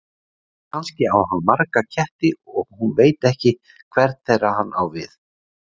Kannski á hann marga ketti og hún veit ekki hvern þeirra hann á við.